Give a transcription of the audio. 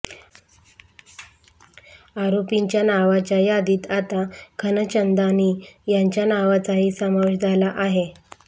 आरोपींच्या नावांच्या यादीत आता खनचंदानी यांच्या नावाचाही समावेश झाला आहे